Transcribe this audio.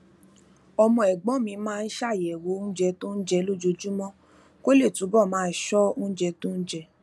ọmọ ègbón mi máa ń ṣàyèwò oúnjẹ tó ń jẹ lójoojúmó kó lè túbò máa ṣó oúnjẹ tó ń jẹ